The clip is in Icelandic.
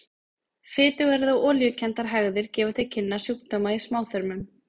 Fitugar eða olíukenndar hægðir gefa til kynna sjúkdóma í smáþörmum.